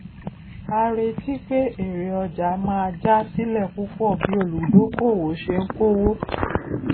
a retí pé èrè ọjà máa já sílẹ púpọ bí olùdókóòwò ṣe ń kówó